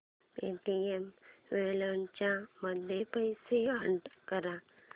Paytm wallet मध्ये पैसे add कर